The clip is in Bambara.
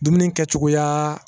Dumuni kɛcogoya